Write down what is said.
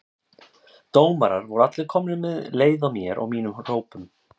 Dómarar voru allir komnir með leið á mér og mínum hrópum.